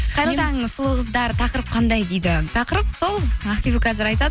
қайырлы таң сұлу қыздар тақырып қандай дейді тақырып сол ақбибі қазір айтады